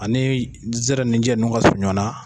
Ani zɛrɛninjɛ njnnu ka surun ɲɔgɔn na.